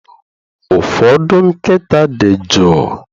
Ụfọdụ nkịta dị jụụ